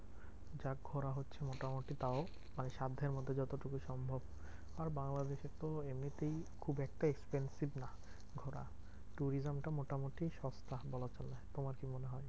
যাক ঘোড়া হচ্ছে মোটামুটি তাও মানে সাধ্যের মধ্যে যতটুকু সম্ভব আর বাংলাদেশে তো এমনিতেও খুব একটা expensive নয় ঘোরা। tourism টা মোটামুটি সস্তা বলা চলে। তোমার কি মনে হয়?